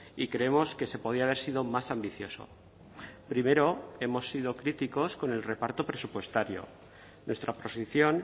y creemos que se podía haber sido más ambicioso primero hemos sido críticos con el reparto presupuestario nuestra posición